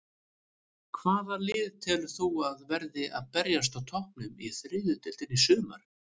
Hvaða lið telur þú að verði að berjast á toppnum í þriðju deildinni í sumar?